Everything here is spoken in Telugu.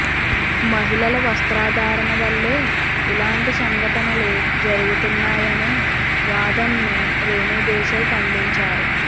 మహిళల వస్త్రధారణ వల్లే ఇలాంటి సంగటనలు జరుగుతున్నాయనే వాదనను రేణు దేశాయ్ ఖండించారు